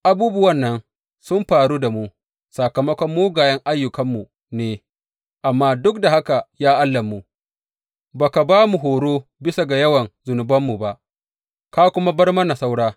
Abubuwan nan sun faru da mu sakamakon mugayen ayyukanmu ne, amma duk da haka ya Allahnmu, ba ka ba mu horo bisa ga yawan zunubanmu ba, ka kuma bar mana saura.